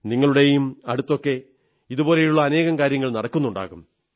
നിങ്ങളുടെയും അടുത്തൊക്കെ ഇതുപോലുള്ള അനേകം കാര്യങ്ങൾ നടക്കുന്നുണ്ടാകും